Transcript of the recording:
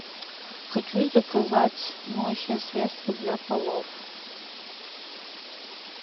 хочу заказать моющее средство для полов